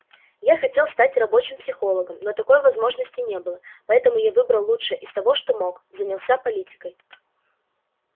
я хотел стать рабочим психологом но такой возможности не было поэтому я выбрал лучшее из того что мог занялся политикой